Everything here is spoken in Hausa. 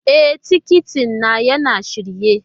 E, tikiti na yana shirye.